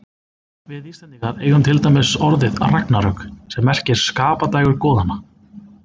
Við Íslendingar eigum til dæmis orðið ragnarök, sem merkir skapadægur goðanna.